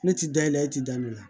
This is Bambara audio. Ne ti da yɛlɛ e ti da i la